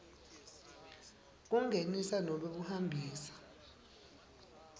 kungenisa nobe kuhambisa